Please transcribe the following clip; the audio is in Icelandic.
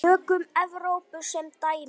Tökum Evrópu sem dæmi.